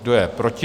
Kdo je proti?